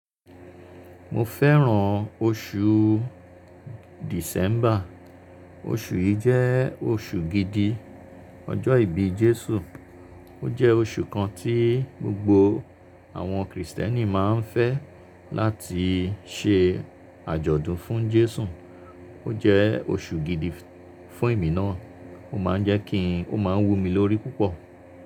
Mo fẹ́ràn oṣù December. Oṣù yìí jẹ́ oṣù gidi ọjọ́ ìbí Jésù. Ó jẹ́ oṣù kan tí gbogbo àwọn Krìstẹ́nì máa ń fẹ́ láti ṣe àjọ̀dún fún Jésù. Ó jẹ́ oṣù gidi fún èmi náà. Ó máa ń jẹ́ kí n Ó máa ń wú mi lórí púpọ̀